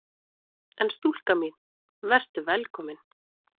En stúlka mín: Vertu velkomin!